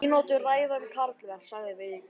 Mínútu ræða um karlmenn, sagði Vigdís.